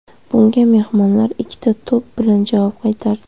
Bunga mehmonlar ikkita to‘p bilan javob qaytardi.